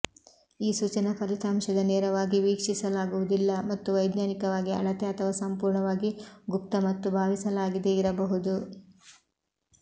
ಈ ಸೂಚನಾ ಫಲಿತಾಂಶದ ನೇರವಾಗಿ ವೀಕ್ಷಿಸಲಾಗುವುದಿಲ್ಲ ಮತ್ತು ವೈಜ್ಞಾನಿಕವಾಗಿ ಅಳತೆ ಅಥವಾ ಸಂಪೂರ್ಣವಾಗಿ ಗುಪ್ತ ಮತ್ತು ಭಾವಿಸಲಾಗಿದೆ ಇರಬಹುದು